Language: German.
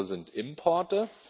Alles andere sind Importe.